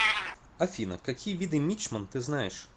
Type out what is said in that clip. афина какие виды мичман ты знаешь